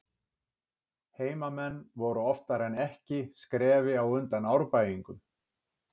Heimamenn voru oftar en ekki skrefi á undan Árbæingum.